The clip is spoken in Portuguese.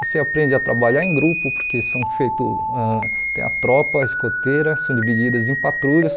Você aprende a trabalhar em grupo, porque são feitos, ãh tem a tropa, a escoteira, são divididas em patrulhas.